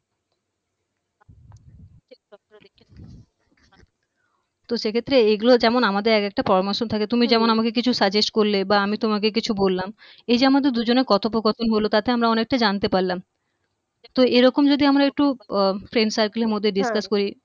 তো সেক্ষেত্রে এগুলো যেমন আমাদের এক একটা পরামর্শ থাকে হম তুমি যেমন আমাকে কিছু suggest করলে বা আমি তোমাকে কিছু বললাম এইযে আমাদের দুজনের কথোপকথন হলো তাতে আমরা অনেকটা জানতে পারলাম তো এরকম যদি আমারা একটু অ friend circle এর মধ্যে হম discuss করি